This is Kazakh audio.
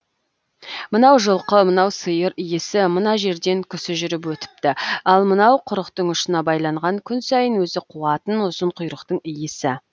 мынау жылқы мынау сиыр иісі мына жерден кісі жүріп өтіпті ал мынау құрықтың ұшына байланған күн сайын өзі қуатын ұзын құйрықтың иісі